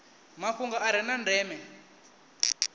mafhungo a re na ndeme